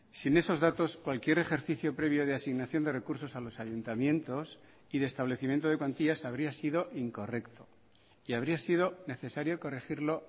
sin esos datos cualquier ejercicio previo de asignación de recursos a los ayuntamientos y de establecimiento de cuantías habría sido incorrecto y habría sido necesario corregirlo